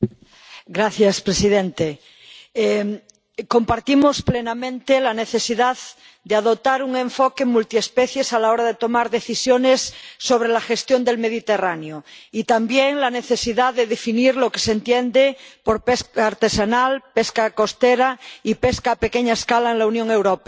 Señor presidente, compartimos plenamente la necesidad de adoptar un enfoque multiespecie a la hora de tomar decisiones sobre la gestión del Mediterráneo y también la necesidad de definir lo que se entiende por pesca artesanal, pesca costera y pesca a pequeña escala en la Unión Europea.